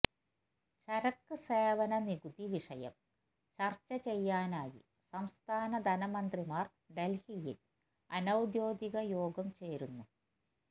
ചരക്ക് സേവന നികുതി വിഷയം ചര്ച്ച ചെയ്യാനായി സംസ്ഥാന ധനമന്ത്രിമാര് ഡല്ഹിയില് അനൌദ്യോഗിക യോഗം ചേരുന്നു